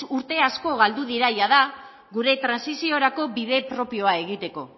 urte asko galdu dira jada gure trantsiziorako bide propioa egiteko